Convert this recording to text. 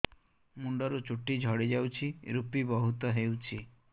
ମୁଣ୍ଡରୁ ଚୁଟି ଝଡି ଯାଉଛି ଋପି ବହୁତ ହେଉଛି